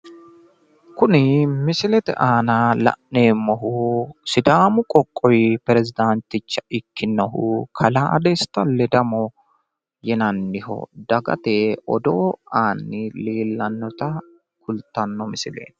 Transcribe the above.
Kuni misilete aana la'neemmohu sidaamu qoqqowi pirezidanticha ikkinohu kalaa desta ledamo yinannihu dagate odoo aanni leellannota kultanno misileeti.